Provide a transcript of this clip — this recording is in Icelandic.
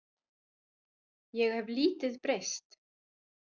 Ég hef lítið breyst.